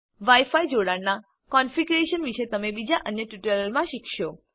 વાઈ ફાય જોડાણનાં કોનફીગરેશન વિશે તમે બીજા અન્ય ટ્યુટોરીયલમાં શીખશો